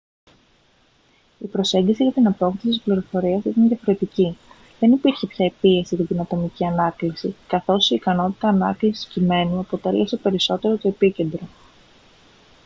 η προσέγγιση για την απόκτηση της πληροφορίας ήταν διαφορετική δεν υπήρχε πια η πίεση για την ατομική ανάκληση καθώς η ικανότητα ανάκλησης κειμένου αποτέλεσε περισσότερο το επίκεντρο